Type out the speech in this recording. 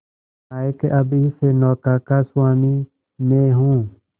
नायक अब इस नौका का स्वामी मैं हूं